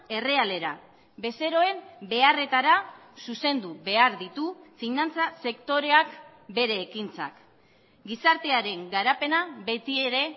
errealera bezeroen beharretara zuzendu behar ditu finantza sektoreak bere ekintzak gizartearen garapena beti ere